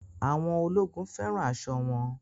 Àwọn ọkùnrin ológun fẹ́ràn aṣọ wọn